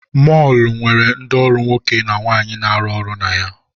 Mọọlụ nwere ndị ọrụ nwoke na nwaanyị na-arụ ọrụ na ha.